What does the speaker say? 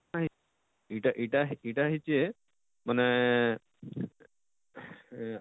କାଣା ଇଟା ଇଟା ଇଟା ହେଇଛେ ମାନେ ଏଁ